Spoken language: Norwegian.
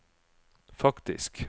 faktisk